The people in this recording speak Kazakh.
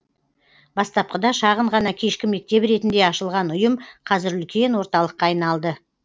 бастапқыда шағын ғана кешкі мектеп ретінде ашылған ұйым қазір үлкен орталыққа айналды